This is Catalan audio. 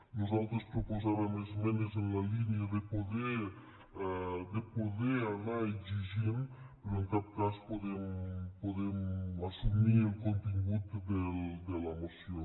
nosaltres proposàvem esmenes en la línia de poder anar exigint però en cap cas podem assumir el contingut de la moció